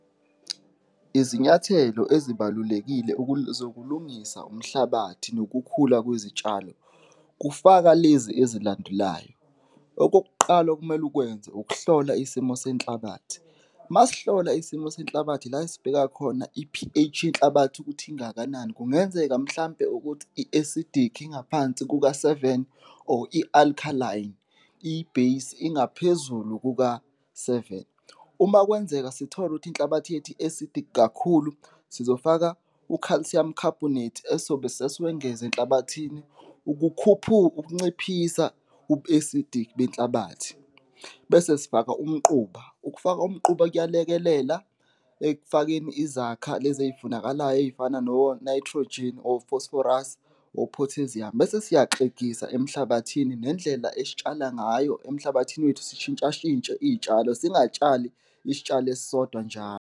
Izinyathelo ezibalulekile zokulungisa umhlabathi nokukhula kwezitshalo kufaka lezi ezilandelayo, okokuqala okumele ukwenze ukuhlola isimo senhlabathi, masihlola isimo senhlabathi ila esibheka khona i-P_H yenhlabathi ukuthi ingakanani, kungenzeka mhlawumbe ukuthi i-acidic, ingaphansi kuka-seven or i-alkaline, i-base ingaphezulu kuka-seven. Uma kwenzeka sithola ukuthi inhlabathi yethu i-acidic kakhulu, sizofaka u-calcium carbonate esizobe sesiwengeza enhlabathini ukukhuphula, ukunciphisa ubu-acidic benhlabathi bese sifaka umquba, ukufaka umquba kuyalekelela ekufakeni izakha lezi ey'funakalayo ey'fana no-nitrogen or phosphorus or potassium bese siyaxegisa emhlabathini nendlela esitshala ngayo emhlabathini wethu, sishintsha shintshe iy'tshalo, singatshali isitshalo esisodwa nja.